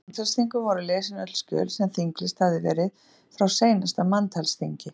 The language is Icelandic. Á manntalsþingum voru lesin öll skjöl sem þinglýst hafði verið frá seinasta manntalsþingi.